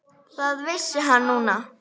Það vissi hann núna.